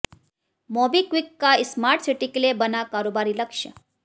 MobiKwik का smart city के लिए बना कारोबारी लक्ष्य